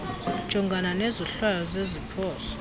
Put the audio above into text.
ujongana nezohlwayo zeziphoso